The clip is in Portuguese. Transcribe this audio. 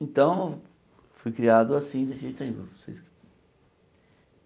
Então, fui criado assim, desse jeito aí. vocês